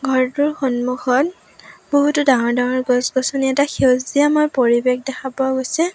ঘৰটোৰ সন্মুখত বহুতো ডাঙৰ ডাঙৰ গছ-গছনি এটা সেউজীয়াময় পৰিৱেশ দেখা পোৱা গৈছে।